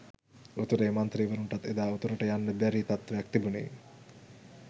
උතුරේ මන්ත්‍රීවරුන්ටත් එදා උතුරට යන්න බැරි තත්ත්වයක් තිබුණේ